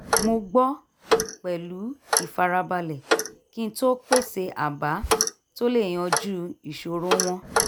mo gbọ́ pẹ̀lú ìfarabalẹ̀ kí n tó pèsè àbá tó lè yanjú ìṣòro wọn